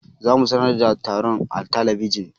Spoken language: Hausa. Za mu sanar da taron a talabijin.